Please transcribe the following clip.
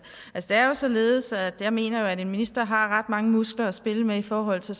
det er jo således at jeg mener at en minister har ret mange muskler at spille med i forhold til